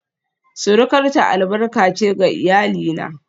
surukarta albarka ce ga iyalina